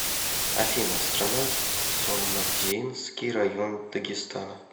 афина страна цумадинский район дагестана